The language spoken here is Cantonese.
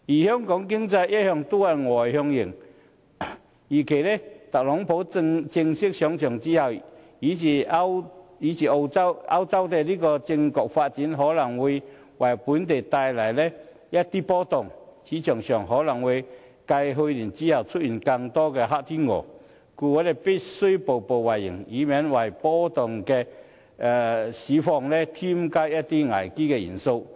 香港的經濟一向是外向型，預計特朗普上場，以及歐洲政局的發展，均可能會為本地的市場帶來一番波動，市場可能會繼去年之後，出現更多的"黑天鵝"，故我們必須步步為營，以免為波動的市況添加一些危機元素。